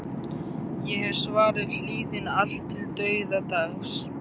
Ég hef svarið hlýðni allt til dauðadags.